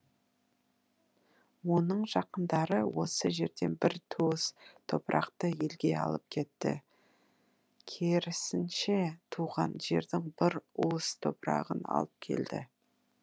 оның жақындары осы жерден бір туыс топырақты елге алып кетті керісінше туған жердің бір уыс топырағын алып келді